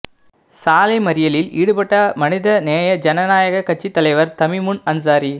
சாலை மறியலில் ஈடுபட்ட மனித நேய ஜனநாயக கட்சி தலைவர் தமிமுன் அன்சாரி